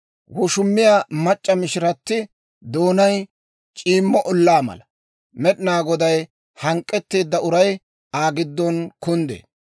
Woshumiyaa mac'c'a mishirati doonay c'iimmo ollaa mala; Med'inaa Goday hank'k'etteedda uray Aa giddon kunddee.